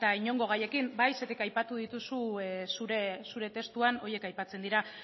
inongo gaiekin bai zergatik aipatu dituzu zure testuan horiek aipatzen dira